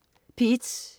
P1: